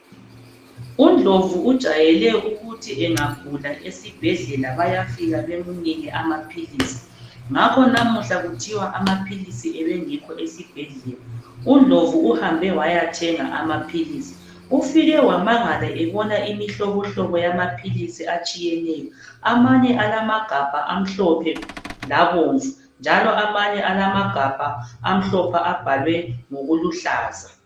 UNdlovu ujayele ukuthi engagula esibhedlela bayafika bamnike amaphilisi, ngakho namuhla kuthiwa amaphilisi abengekho esibhedlela, uNdlovu uhambe wayathenga amaphilisi. Ufike wamangala ebona imihlobohlobo yamaphilisi atshiyeneyo. Amanye alamagabha amhlophe labomvu, njalo amanye alamagabha amhlophe abhalwe ngokuluhlaza.